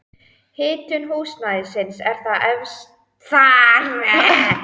Hitun húsnæðis er þar efst á blaði.